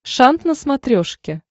шант на смотрешке